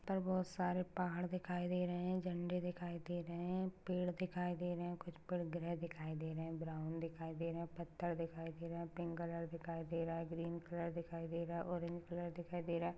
यहाँ पे बहुत सारे पहाड दिखाई दे रहे है झंडे दिखाई दे रहे है पेड़ दिखाई दे रहे है कुछ पेड़ ग्रे दिखाई दे रहे है ब्राउन दिखाई दे रहे है पथर दिखाई दे रहे है पिंक कलर दिखाई दे रहा है ग्रीन कलर के दिखाई दे रहा है ऑरेंज कलर दिखाई दे रहा है।